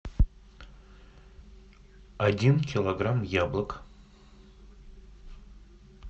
один килограмм яблок